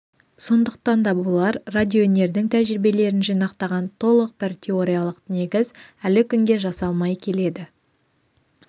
сондықтан да болар радиоөнердің тәжірибелерін жинақтаған толық бір теориялық негіз әлі күнге жасалмай келеді